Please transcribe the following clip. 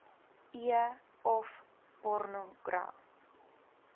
e of pornogra